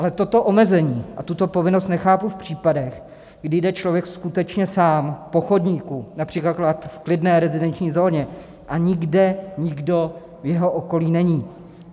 Ale toto omezení a tuto povinnost nechápu v případech, kdy jde člověk skutečně sám po chodníku, například v klidné rezidenční zóně, a nikde nikdo v jeho okolí není.